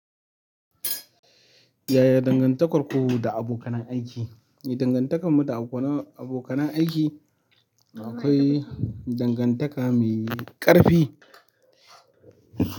Yaya dangantakar ku da abokan nan aiki? Dangantakan mu da abokan aiki akwai dangantaka mai ƙarfi.